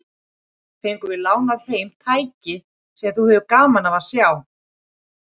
Í gær fengum við lánað heim tæki sem þú hefðir gaman af að sjá.